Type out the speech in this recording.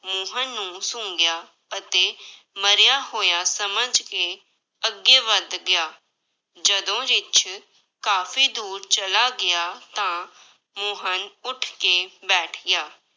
ਮੋਹਨ ਨੂੰ ਸੁੰਘਿਆ ਅਤੇ ਮਰਿਆ ਹੋਇਆ ਸਮਝ ਕੇ ਅੱਗੇ ਵੱਧ ਗਿਆ, ਜਦੋਂ ਰਿੱਛ ਕਾਫ਼ੀ ਦੂਰ ਚਲਾ ਗਿਆ, ਤਾਂ ਮੋਹਨ ਉੱਠ ਕੇ ਬੈਠ ਗਿਆ।